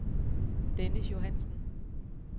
Dennis Johansen